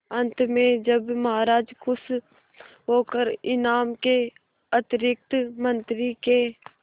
अंत में जब महाराज खुश होकर इनाम के अतिरिक्त मंत्री के